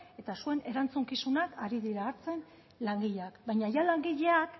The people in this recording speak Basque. eta zuen erantzukizunak ari dira hartzen langileak baina jada langileek